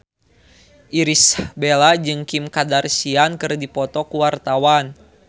Irish Bella jeung Kim Kardashian keur dipoto ku wartawan